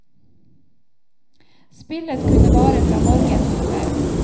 Spillet kunne vare fra morgen til kveld.